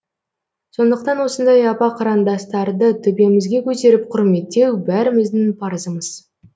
сондықтан осындай апа қарындастарды төбемізге көтеріп құрметтеу бәріміздің парызымыз